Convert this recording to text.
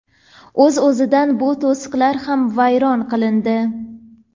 O‘z o‘zidan bu to‘siqlar ham vayron qilindi.